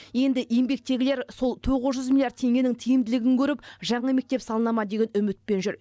енді еңбектегілер сол тоғыз жүз миллиард теңгенің тиімділігін көріп жаңа мектеп салына ма деген үмітпен жүр